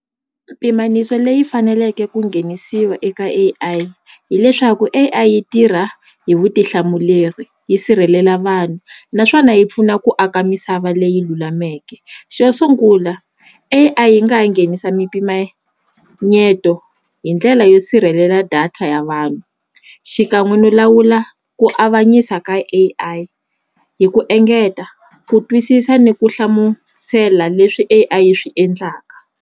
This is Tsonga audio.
Pimaniso leyi faneleke ku nghenisiwa eka A_I hileswaku A_I yi tirha hi vutihlamuleri yi sirhelela vanhu naswona yi pfuna ku aka misava leyi lulameke xo sungula A_I yi nga ha nghenisa mimpimanyeto hi ndlela yo sirhelela data ya vanhu xikan'we no lawula ku avanyisa ka A_I hi ku engeta ku twisisa ni ku hlamusela leswi A_I yi swi endlaka